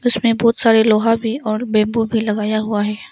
बहुत सारे लोहा भी और बैंबू भी लगाया हुआ है।